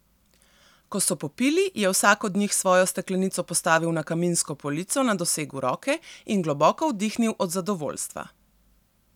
Ko so popili, je vsak od njih svojo steklenico postavil na kaminsko polico na dosegu roke in globoko vdihnil od zadovoljstva.